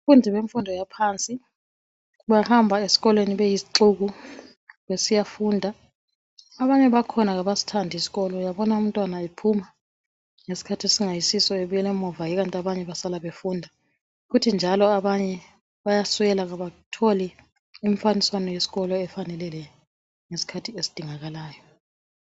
Abafundi bemfundo yaphansi bahamba esikolweni beyizixuku besiyafunda abanye bakhona abasithandi isikolo uyabona umntwana ephuma ngesikhathi esingayisiso ebuyela emuva ikanti abanye basala befunda kuthi njalo abanye bayaswela abatholi imfaniswano yesikolo efaneleyo ngesikhathi esidingakalayo.